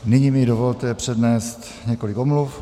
Nyní mi dovolte přednést několik omluv.